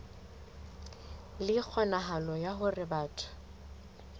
le kgonahalo ya hore batho